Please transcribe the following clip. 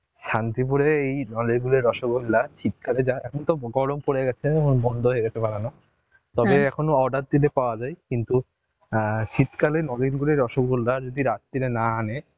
শান্তিপুরের এই নলেন গোলের রসগোল্লা শীতকালে যা এখন তো গরম পড়ে গেছে, উম বন্ধ হয়ে গেছে বানানো, এখনো order দিলে পাওয়া যায় কিন্তু এন শীতকালের নলেন গুড়ের রসগোল্লা যদি রাত্তিরে না আনে